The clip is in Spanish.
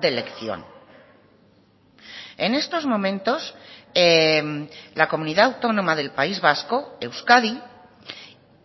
de elección en estos momentos la comunidad autónoma del país vasco euskadi